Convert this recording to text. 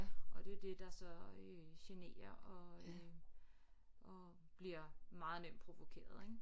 Og det er det der så øh generer og øh og bliver meget nemt provokeret ik